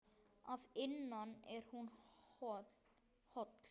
Að innan er hún hol.